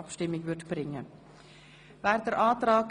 Abstimmung (Art. 28 Abs. 1; Antrag